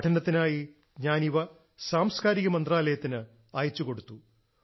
പഠനത്തിനായി ഞാൻ ഇവ സാംസ്ക്കാരിക മന്ത്രാലയത്തിന് അയച്ചുകൊടുത്തു